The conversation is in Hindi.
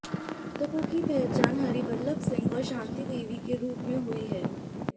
मृतकों की पहचान हरिबल्लभ सिंह और शांति देवी के रूप में हुई है